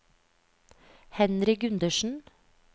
Henry Gundersen